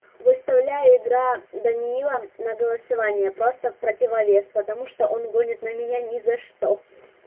выставляю игра даниила на голосование просто в противовес потому что он гонит на меня ни за что